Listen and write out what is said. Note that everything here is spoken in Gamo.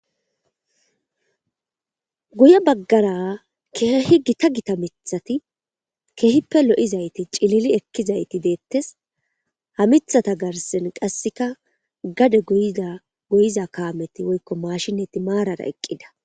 Guye bagara kehi githa githa mithati kehippe lo, izayite ci,lili ekidayiti betees ha mithatha garsen qasika gade goyiza kameti woyiko mashineti marara eqida